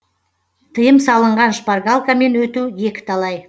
тыйым салынған шпаргалкамен өту екі талай